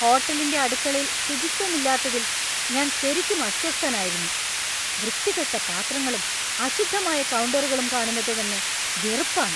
ഹോട്ടലിന്‍റെ അടുക്കളയിൽ ശുചിത്വമില്ലാത്തതിൽ ഞാൻ ശരിക്കും അസ്വസ്ഥനായിരുന്നു. വൃത്തികെട്ട പാത്രങ്ങളും അശുദ്ധമായ കൗണ്ടറുകളും കാണുന്നത് തന്നെ വെറുപ്പാണ് .